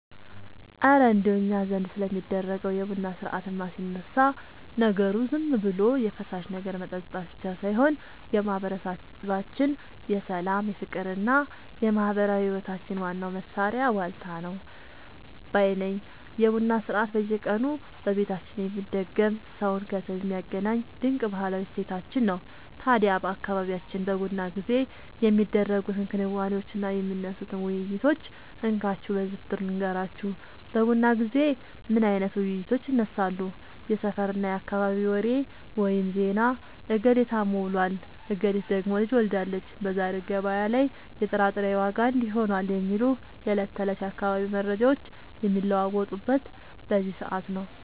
እረ እንደው እኛ ዘንድ ስለሚደረገው የቡና ሥርዓትማ ሲነሳ፣ ነገሩ ዝም ብሎ የፈሳሽ ነገር መጠጣት ብቻ ሳይሆን የማህበረሰባችን የሰላም፣ የፍቅርና የማህበራዊ ህይወታችን ዋናው ማሰሪያ ዋልታ ነው ባይ ነኝ! የቡና ሥርዓት በየቀኑ በየቤታችን የሚደገም፣ ሰውን ከሰው የሚያገናኝ ድንቅ ባህላዊ እሴታችን ነው። ታዲያ በአካባቢያችን በቡና ጊዜ የሚደረጉትን ክንዋኔዎችና የሚነሱትን ውይይቶች እንካችሁ በዝርዝር ልንገራችሁ፦ በቡና ጊዜ ምን አይነት ውይይቶች ይነሳሉ? የሰፈርና የአካባቢ ወሬ (ዜና)፦ "እገሌ ታሞ ውሏል፣ እገሊት ደግሞ ልጅ ወልዳለች፣ በዛሬው ገበያ ላይ የጥራጥሬ ዋጋ እንዲህ ሆኗል" የሚሉ የዕለት ተዕለት የአካባቢው መረጃዎች የሚለዋወጡት በዚህ ሰዓት ነው።